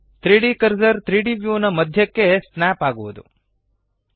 3ದ್ ಕರ್ಸರ್ 3ದ್ ವ್ಯೂನ ಮಧ್ಯಕ್ಕೆ ಸ್ನ್ಯಾಪ್ ಆಗುವದು